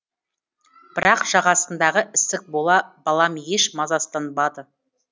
бірақ жағасындағы ісік бола балам еш мазасызданбады